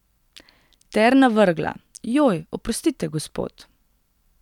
Ter navrgla: "Joj, oprostite, gospod.